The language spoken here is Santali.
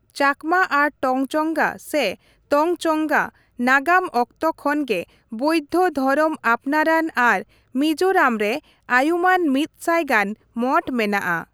ᱪᱟᱠᱢᱟ ᱟᱨ ᱴᱚᱝᱪᱚᱝᱜᱟ ᱥᱮ ᱛᱚᱧᱪᱚᱝᱜᱟ ᱱᱟᱜᱟᱢ ᱚᱠᱛᱚ ᱠᱷᱚᱱ ᱜᱮ ᱵᱳᱣᱫᱷᱚ ᱫᱷᱚᱨᱚᱢ ᱟᱯᱱᱟᱨᱟᱱ ᱟᱨ ᱢᱤᱡᱳᱨᱟᱢ ᱨᱮ ᱟᱭᱩᱢᱟᱹᱱ ᱢᱤᱫᱥᱟᱭ ᱜᱟᱱ ᱢᱚᱴᱷ ᱢᱮᱱᱟᱜᱼᱟ ᱾